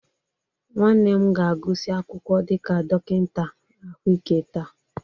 Nwanne m ga-agụsị akwụkwọ dịka dọkịta ahụike taa